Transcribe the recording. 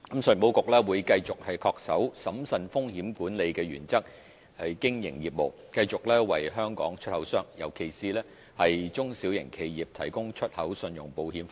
信保局會繼續恪守審慎風險管理的原則經營業務，繼續為香港出口商，尤其是中小型企業提供出口信用保險服務。